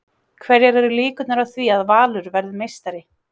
Hverjar eru líkurnar á því að Valur verði meistari?